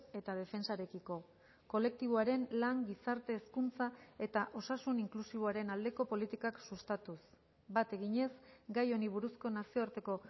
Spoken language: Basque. eta defentsarekiko kolektiboaren lan gizarte hezkuntza eta osasun inklusiboaren aldeko politikak sustatuz bat eginez gai honi buruzko nazioarteko